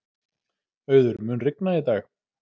Auður, mun rigna í dag?